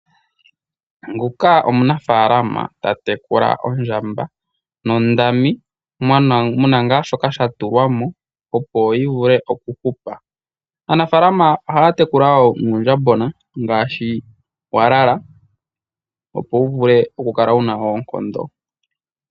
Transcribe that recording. Omunafalama tatekula ondjamba muna shoka sha tulwamo opo yivule okuhupa. Aanafalama ohaya tekula nuundjambona walala opo wuvule okukala wuna oonkondo.